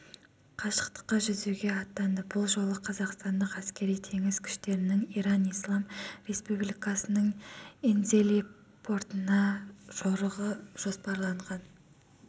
қашықтыққа жүзуге аттанды бұл жолы қазақстандық әскери-теңіз күштерінің иран ислам республикасының энзели портына жорығы жоспарланған